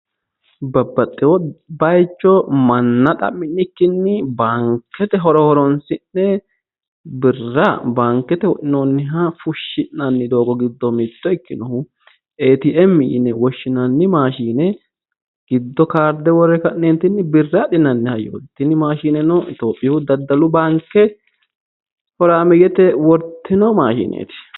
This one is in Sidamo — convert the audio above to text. Babbaxxeewo baayicho manna xa'minikkinni baankete horo horonsi'ne birra baankete wodhinoonniha fushshinanni doogo giddo mitto ikkinohu ATM yine woshinanni maashine giddo kaarde worre ka'neeti birra adhinanni hayyooti, tini maashinenno iitiyoophiyu daddalu baanke horaameeyyete wortino maashineeti.